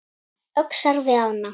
Öxar við ána